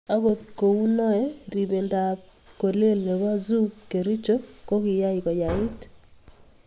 Ogot kou noe, ribende ab kolel ne boo Zoo Kericho ko kiyay koyait.